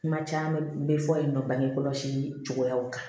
Kuma caman bɛ fɔ yen nɔ bange kɔlɔsi cogoyaw kan